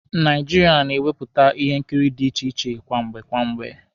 Naijiria na-ewepụta ihe nkiri dị iche iche kwamgbe kwamgbe.